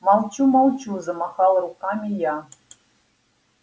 молчу молчу замахала руками я